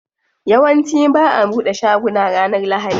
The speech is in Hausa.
Yawanci ba'a bude shaguna ranar lahadi.